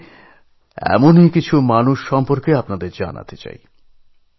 আমি আজ এরকম কিছু মানুষের কথা আপনাদের বলতে চাই